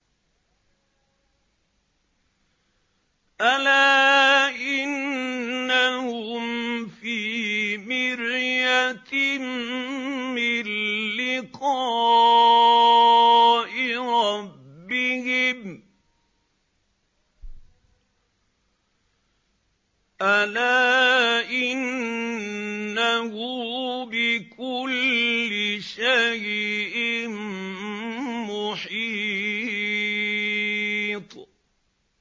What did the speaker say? أَلَا إِنَّهُمْ فِي مِرْيَةٍ مِّن لِّقَاءِ رَبِّهِمْ ۗ أَلَا إِنَّهُ بِكُلِّ شَيْءٍ مُّحِيطٌ